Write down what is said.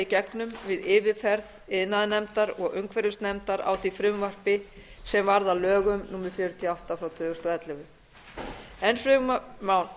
gegnum við yfirferð iðnaðarnefndar og umhverfisnefndar á því frumvarpi sem varð að gögn númer fjörutíu og átta tvö þúsund og ellefu enn fremur má